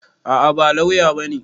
A'a, ba lauya bane.